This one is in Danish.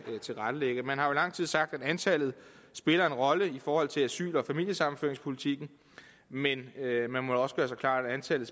tilrettelægge man har jo i lang tid sagt at antallet spiller en rolle i forhold til asyl og familiesammenføringspolitikken men man må også gøre sig klart at antallet